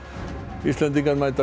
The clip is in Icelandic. Íslendingar mæta